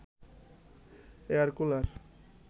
air cooler